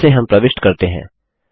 जिसे हम प्रविष्ट करते हैं